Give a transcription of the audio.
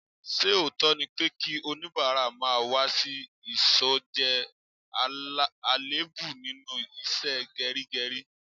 Ṣé òótọ́ ni pé kí onibara má wá sí ìsò jẹ́ àléébù nínú ìṣe geri geri?